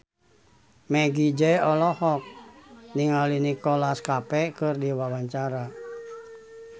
Meggie Z olohok ningali Nicholas Cafe keur diwawancara